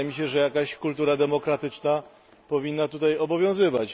Wydaje mi się, że jakaś kultura demokratyczna powinna tutaj obowiązywać.